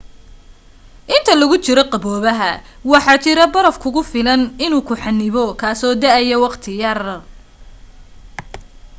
inta lagu jiro qaboobaha waxaa jira baraf kugu filan inuu ku xanibo kaaso da'aya wakhti yar